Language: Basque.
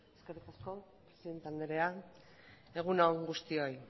eskerrik asko presidente anderea egun guztioi